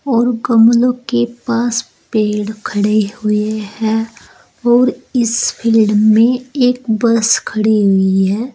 और गमलों के पास पेड़ खड़े हुए हैं और इस फील्ड में एक बस खड़ी हुई है।